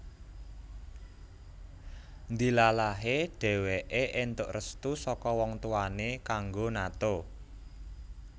Ndilalahe dheweke entuk restu saka wong tuwane kanggo nato